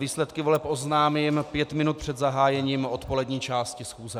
Výsledky voleb oznámím pět minut před zahájením odpolední části schůze.